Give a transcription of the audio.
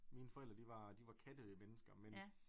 Mine forældre de var de var kattemennesker men